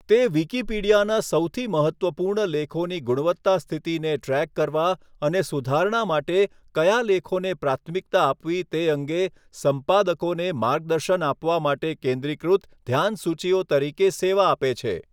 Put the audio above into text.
તે વિકિપીડિયાના સૌથી મહત્ત્વપૂર્ણ લેખોની ગુણવત્તા સ્થિતિને ટ્રૅક કરવા અને સુધારણા માટે કયા લેખોને પ્રાથમિકતા આપવી તે અંગે સંપાદકોને માર્ગદર્શન આપવા માટે કેન્દ્રીકૃત ધ્યાનસૂચીઓ તરીકે સેવા આપે છે.